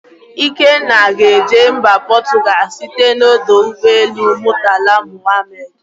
Ikenna ga-eje mba Portugal site n'ọdọ ụgbọelu Murtala Mohammed.